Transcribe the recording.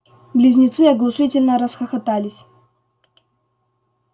близнецы оглушительно расхохотались